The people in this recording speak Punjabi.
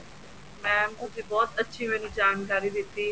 ma'am ਤੁਸੀਂ ਬਹੁਤ ਅੱਛੀ ਮੈਨੂੰ ਜਾਣਕਾਰੀ ਦਿੱਤੀ